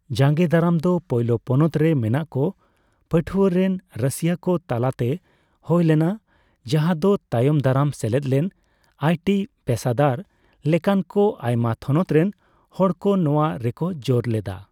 ᱡᱟᱜᱮᱸ ᱫᱟᱨᱟᱢ ᱫᱚ ᱯᱳᱭᱞᱳ ᱯᱚᱱᱚᱛ ᱨᱮ ᱢᱮᱱᱟᱜ ᱠᱚ ᱯᱟᱹᱴᱷᱩᱣᱟᱹ ᱨᱮᱱ ᱨᱟᱹᱥᱤᱭᱟᱹ ᱠᱚ ᱛᱟᱞᱟᱛᱮ ᱦᱳᱭ ᱞᱮᱱᱟ ᱡᱟᱦᱟᱸ ᱫᱚ ᱛᱟᱭᱚᱢ ᱫᱟᱨᱟᱢ ᱥᱮᱞᱮᱫ ᱞᱮᱱ ᱟᱭ ᱴᱤ ᱯᱮᱥᱟᱫᱟᱨ ᱞᱮᱠᱟᱱ ᱠᱚ ᱟᱭᱢᱟ ᱛᱷᱚᱱᱚᱛ ᱨᱮᱱ ᱦᱚᱲᱠᱚ ᱱᱚᱣᱟ ᱨᱮᱠᱚ ᱡᱳᱨ ᱞᱮᱫᱟ ᱾